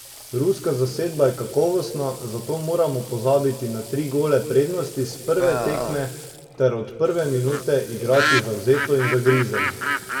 Ruska zasedba je kakovostna, zato moramo pozabiti na tri gole prednosti s prve tekme ter od prve minute igrati zavzeto in zagrizeno.